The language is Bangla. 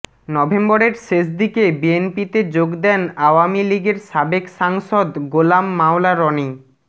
নভেম্বরের শেষ দিকে বিএনপিতে যোগ দেন আওয়ামী লীগের সাবেক সাংসদ গোলাম মাওলা রনি